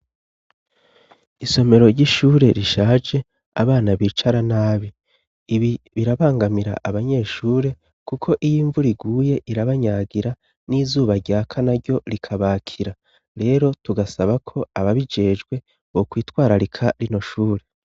Isomero ry'ishure rishaje abana bicara nabi ibi birabangamira abanyeshure, kuko iyo imvuriguye irabanyagira n'izuba rya kana ryo rikabakira rero tugasaba ko aba bijejwe go kwitwararika rino shure.